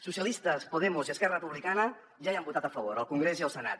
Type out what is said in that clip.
socialistes podemos i esquerra republicana ja hi han votat a favor al congrés i al senat